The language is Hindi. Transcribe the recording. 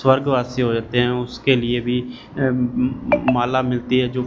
स्वर्गवासी हो जाते हैं उसके लिए भी अम म म माला मिलती है जो--